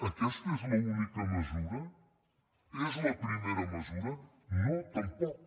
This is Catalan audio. aques·ta és l’única mesura és la primera mesura no tam·poc